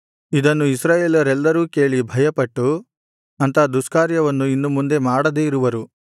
ಇದನ್ನು ಇಸ್ರಾಯೇಲರೆಲ್ಲರೂ ಕೇಳಿ ಭಯಪಟ್ಟು ಅಂಥ ದುಷ್ಕಾರ್ಯವನ್ನು ಇನ್ನು ಮುಂದೆ ಮಾಡದೆ ಇರುವರು